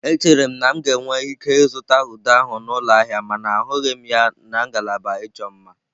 Echere m na m ga-enwe ike ịzụta ude ahụ m n'ụlọ ahịa mana ahụghị m ya na ngalaba ịchọ mma.